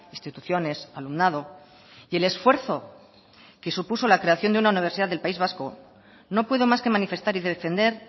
instituciones alumnado y el esfuerzo que supuso la creación de una universidad del país vasco no puedo más que manifestar y defender